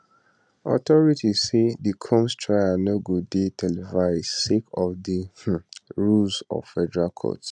authorities say di combs trial no go dey televised sake of di um rules of federal court